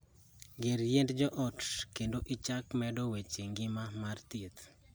Gor yiend jo ot kendo ichak medo weche ngimagi mar thieth.